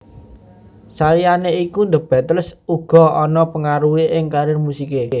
Saliyane iku The Beatles uga ana pangaruhe ing karier musike